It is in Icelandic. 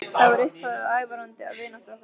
Það varð upphafið að ævarandi vináttu okkar.